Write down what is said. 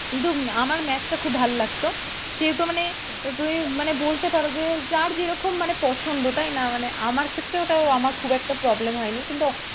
কিন্তু আমার math খুব ভালো লাগতো সেহেতু মানে তুমি বলতে পারো যে যার যেরকম মানে পছন্দ তাই না মানে আমার ক্ষেত্রে ওটা আমার খুব একটা problem হয়নি কিন্তু,